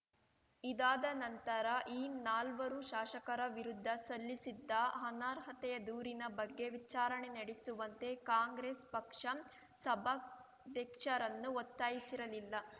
ಇದಾದ ನಂತರ ಈ ನಾಲ್ವರು ಶಾಸಕರ ವಿರುದ್ಧ ಸಲ್ಲಿಸಿದ್ದ ಅನರ್ಹತೆಯ ದೂರಿನ ಬಗ್ಗೆ ವಿಚಾರಣೆ ನಡೆಸುವಂತೆ ಕಾಂಗ್ರೆಸ್ ಪಕ್ಷ ಸಭಾಧ್ಯಕ್ಷರನ್ನು ಒತ್ತಾಯಿಸಿರಲಿಲ್ಲ